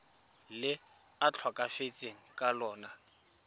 le a tlhokafetseng ka lona